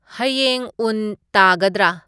ꯍꯌꯦꯡ ꯎꯟ ꯇꯥꯒꯗ꯭ꯔ